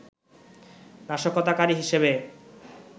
নাশকতাকারী হিসেবে